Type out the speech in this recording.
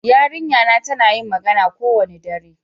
Yarinƴa na tana yin magana kowane ɗare.